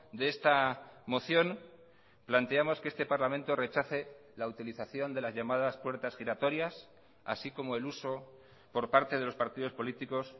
de esta moción planteamos que este parlamento rechace la utilización de las llamadas puertas giratorias así como el uso por parte de los partidos políticos